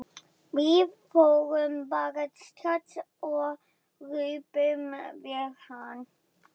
Við förum bara strax og röbbum við hann.